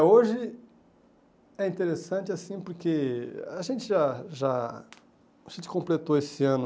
hoje é interessante, assim, porque a gente já já... a gente completou esse ano